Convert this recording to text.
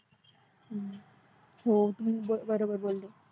हो बरोबर बोलतो